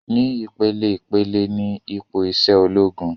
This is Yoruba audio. Ni ìpeleìpele ni ipò isẹ ológun